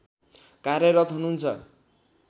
कार्यरत हुनुहुन्छ